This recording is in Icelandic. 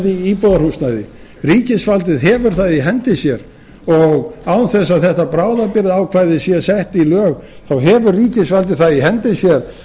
íbúðarhúsnæði ríkisvaldið hefur það í hendi sér og án þess að þetta bráðabirgðaákvæði sé sett í lög þá hefur ríkisvaldið það í hendi sér